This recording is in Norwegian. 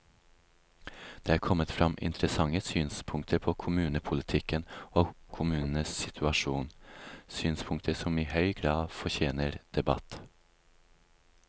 Det er kommet frem interessante synspunkter på kommunepolitikken og på kommunenes situasjon, synspunkter som i høy grad fortjener debatt.